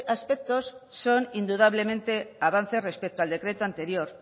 aspectos son indudablemente avances respecto al decreto anterior